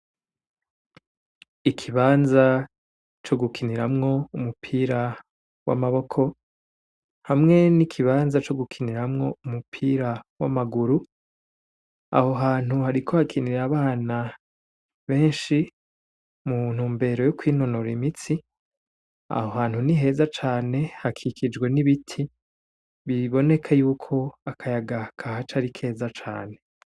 Ikibanza co gukiniramwo umupira w'amaboko hamwe n'ikibanza co gukiniramwo umupira w'amaguru aho hantu hari ko hakinira abana benshi muntu mbero yuko intonora imitsi aho hantuni keza cane hakikijwe n'ibiti biiboneke yuko akayagaka ha ca ari keza cane.